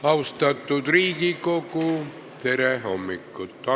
Austatud Riigikogu, tere hommikust!